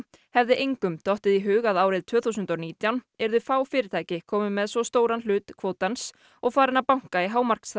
hefði engum dottið í hug að árið tvö þúsund og nítján yrðu fá fyrirtæki komin með svo stóran hlut kvótans og farin að banka í